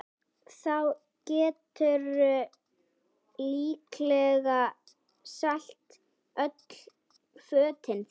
Þá geturðu líklega selt öll fötin þín